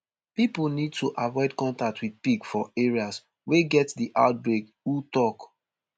pipo need to avoid contact wit pig for areas wey get di outbreak who tok